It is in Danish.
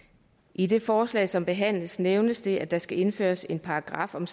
i det forslag som behandles nævnes det at der skal indføres en paragraf om